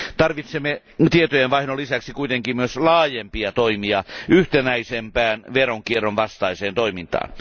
Tarvitsemme tietojenvaihdon lisäksi kuitenkin myös laajempia toimia yhtenäisempään veronkierron vastaiseen toimintaan.